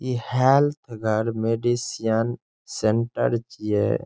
इ health medicine centre छीये।